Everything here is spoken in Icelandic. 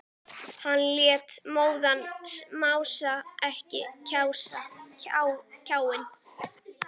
Hann lét móðan mása eins og kjáni.